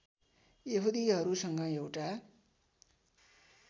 यहुदीहरूसँग एउटा